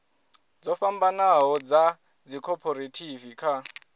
dzo fhambanaho dza dzikhophorethivi kha